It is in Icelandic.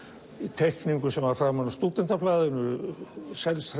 teikningu sem var framan á Stúdentablaðinu